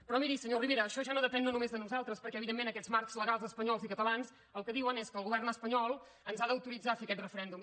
però miri senyor rivera això ja no depèn només de nosaltres perquè evidentment aquests marcs legals espanyols i catalans el que diuen és que el govern espanyol ens ha d’autoritzar a fer aquest referèndum